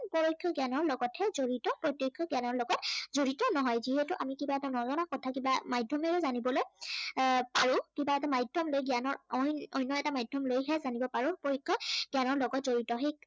পৰোক্ষ জ্ঞানৰ লগতহে জড়িত প্ৰত্য়ক্ষ জ্ঞানৰ লগত জড়িত নহয়। যিহেতু আমি কিবা এটা নজনা কথা কিবা মাধ্য়মেৰে জানিবলে এৰ পাৰো আৰু কোনোবা এটা মাধ্য়ম জ্ঞানৰ অন্য় এটা মাধ্য়ম লৈহে জানিব পাৰো। পৰোক্ষ জ্ঞানৰ লগত জড়িত সেই